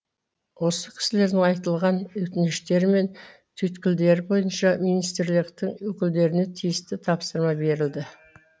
осы кісілердің айтылған өтініштері мен түйткілдері бойынша министрліктің өкілдеріне тиісті тапсырма берілді